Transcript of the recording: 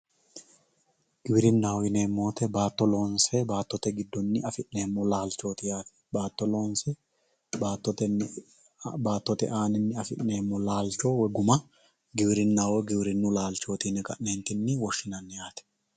Giwirinaho yinemo woyite naato loonse baatote gidoni afinemo laalichoti yaate baato loonse baatote batote anini afinemo laalichowoyi guma giwirinaho woyi giwirinu lalchoti yine kane woshinani yaate